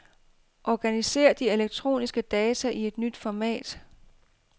Organiser de elektroniske data i et nyt format.